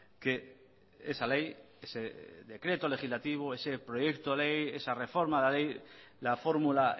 que esa ley ese decreto legislativo ese proyecto ley esa reforma de la ley la fórmula